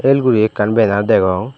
el guri ekkan bera degong.